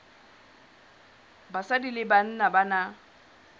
banna le basadi ba na